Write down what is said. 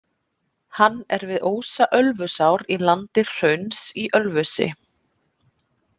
Hann er við ósa Ölfusár í landi Hrauns Í Ölfusi.